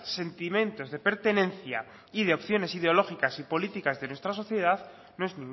sentimientos de pertenencia y de opciones ideológicas y políticas de nuestra sociedad no es